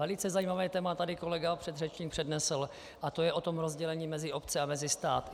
Velice zajímavé téma tady kolega předřečník přednesl a to je o tom rozdělení mezi obce a mezi stát.